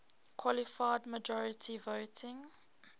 qualified majority voting